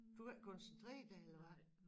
Du kan ikke koncentrere dig eller hvad